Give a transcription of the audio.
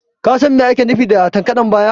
Ka San Mai ake nufi da takaddan biya?